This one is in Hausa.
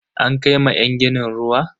An kai ma yan ginin ruwa?